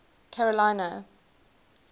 carolina